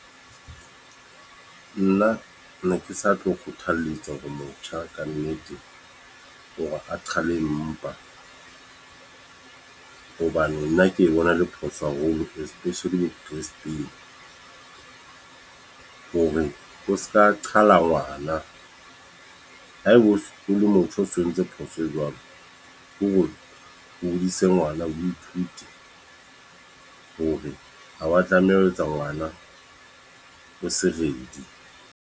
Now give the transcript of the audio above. Nna ne ke sa tlo kgothalletsa hore motjha ka nnete, hore a qhale mpa. Hobane nna ke bona le phoso haholo. Expecially hore o seka qhala ngwana. Haebe o sokole motho o so o entse phoso e jwalo. Ke hore o hodise ngwana. O ithute hore ha wa tlameha ho etsa ngwana o se ready.